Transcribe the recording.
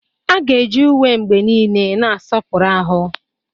A ga-eji uwe mgbe niile na-asọpụrụ ahụ.